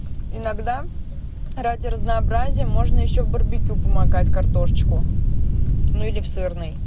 иногда ради разнообразия можно ещё барбекю помогать картошечку ну или в сырный